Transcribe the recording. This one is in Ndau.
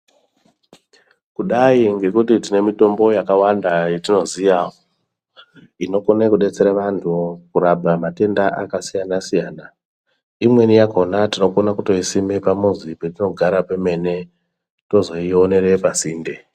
Kudai ngekuti tine mitombo yakawanda yatinoziya inokone kudetsere vantu kurapa matenda akasiyana siyana imweni yakhona tinokone kutoisime pamuzi petinogara pemene tozoionere pasinde.